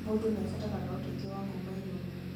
O mũndũ nĩabataraga ũteithio wa kuma igũrũ